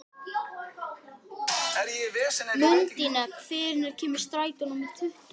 Mundína, hvenær kemur strætó númer tuttugu?